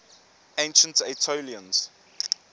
ancient aetolians